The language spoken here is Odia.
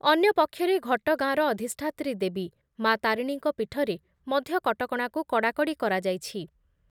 ଅନ୍ୟ ପକ୍ଷରେ ଘଟଗାଁର ଅଧିଷ୍ଠାତ୍ରୀ ଦେବୀ ମା' ତାରିଣୀଙ୍କ ପୀଠରେ ମଧ୍ୟ କଟକଣାକୁ କଡ଼ାକଡ଼ି କରାଯାଇଛି ।